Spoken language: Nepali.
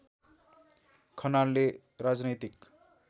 खनालले राजनैतिक